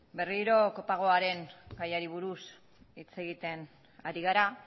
berriro kopagoaren gaiari buruz hitz egiten ari gara